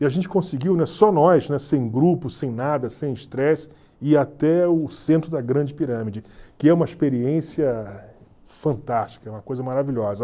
E a gente conseguiu, né, só nós, né, sem grupo, sem nada, sem estresse, ir até o centro da Grande Pirâmide, que é uma experiência fantástica, é uma coisa maravilhosa.